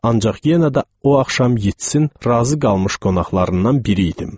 Ancaq yenə də o axşam Yeatsin razı qalmış qonaqlarından biri idim.